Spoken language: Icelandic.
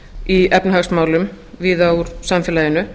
í efnahagsmálum víða úr samfélaginu